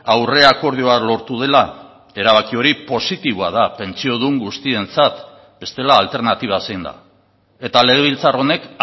aurre akordioa lortu dela erabaki hori positiboa da pentsiodun guztientzat bestela alternatiba zein da eta legebiltzar honek